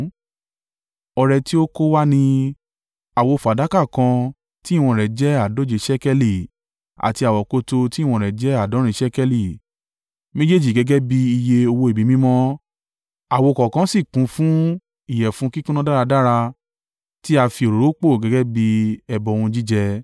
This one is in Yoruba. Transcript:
Ọrẹ tí ó kó wá ni: àwo fàdákà kan tí ìwọ̀n rẹ̀ jẹ́ àádóje ṣékélì àti àwokòtò tí ìwọ̀n rẹ̀ jẹ́ àádọ́rin ṣékélì, méjèèjì gẹ́gẹ́ bí iye owó ibi mímọ́, àwo kọ̀ọ̀kan sì kún fún ìyẹ̀fun kíkúnná dáradára tí á fi òróró pò gẹ́gẹ́ bí ẹbọ ohun jíjẹ;